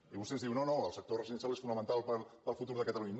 i vostè ens diu no no el sector residencial és fonamental per al futur de catalunya